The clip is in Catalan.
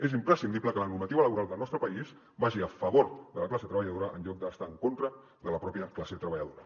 és imprescindible que la normativa laboral del nostre país vagi a favor de la classe treballadora en lloc d’estar en contra de la pròpia classe treballadora